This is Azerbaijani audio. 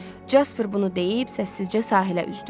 Jasper bunu deyib səssizcə sahilə üzdü.